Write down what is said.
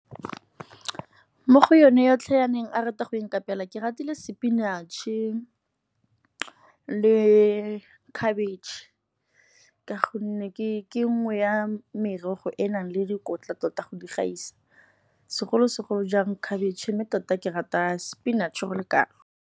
Mo go yone yotlhe ya neng a rata go ikapela ke ratile spinach-e le khabetšhe. Ka gonne ke nngwe ya merogo e enang le dikotla tota go di gaisa. Segolo-segolo jang khabetšhe mme tota ke rata spinach-e go le kalo.